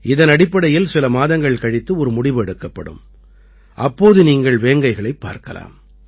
இதனடிப்படையில் சில மாதங்கள் கழித்து ஒரு முடிவு எடுக்கப்படும் அப்போது நீங்கள் வேங்கைகளைப் பார்க்கலாம்